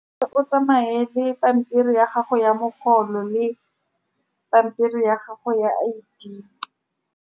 Fa o tsamaye le pampiri ya gago ya mogolo le pampiri ya gago ya I_D.